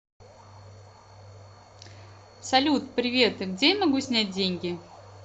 салют привет где я могу снять деньги